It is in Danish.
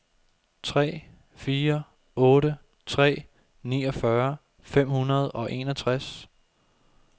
tre fire otte tre niogfyrre fem hundrede og enogtres